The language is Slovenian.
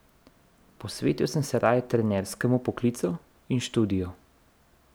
Posvetil sem se raje trenerskemu poklicu in študiju.